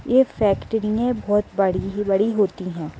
यह फेक्ट्री में बहुत बड़ी बड़ी होती है